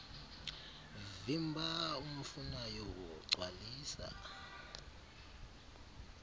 vimba umfunayo gcwalisa